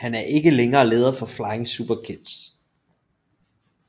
Han er ikke længere leder for Flying Superkids